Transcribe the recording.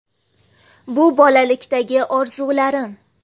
Bu bolalikdagi orzularim.